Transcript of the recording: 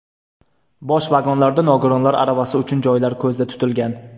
Bosh vagonlarda nogironlar aravasi uchun joylar ko‘zda tutilgan.